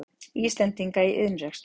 Íslendinga í iðnrekstri.